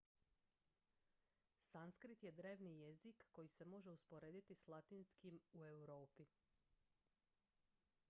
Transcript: sanskrit je drevni jezik koji se može usporediti s latinskim u europi